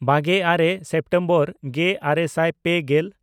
ᱵᱟᱜᱮᱼᱟᱨᱮ September ᱜᱮᱼᱟᱨᱮ ᱥᱟᱭ ᱯᱮᱜᱮᱞ